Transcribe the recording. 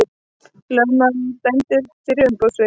Lögmaður dæmdur fyrir umboðssvik